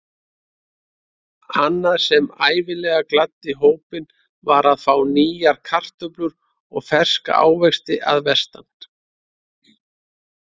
Annað sem ævinlega gladdi hópinn var að fá nýjar kartöflur eða ferska ávexti að vestan.